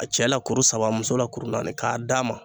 A cɛ la kuru saba muso la kuru naani k'a d'a ma